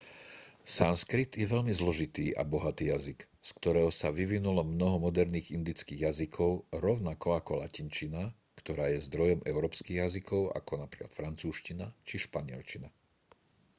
sanskrit je veľmi zložitý a bohatý jazyk z ktorého sa vyvinulo mnoho moderných indických jazykov rovnako ako latinčina ktorá je zdrojom európskych jazykov ako napríklad francúzština a španielčina